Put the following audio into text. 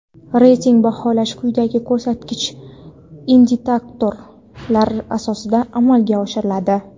reyting baholash quyidagi ko‘rsatkich (indikator)lar asosida amalga oshiriladi:.